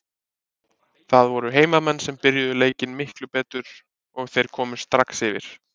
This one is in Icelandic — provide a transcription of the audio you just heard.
Það voru heimamenn sem byrjuðu leikinn miklu betur og þeir komust strax yfir.